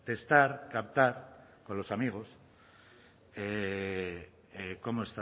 testar captar con los amigos